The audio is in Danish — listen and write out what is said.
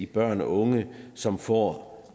børn og unge som får